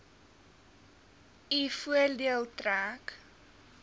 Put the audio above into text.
u voordeel trek